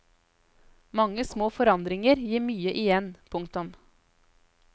Mange små forandringer gir mye igjen. punktum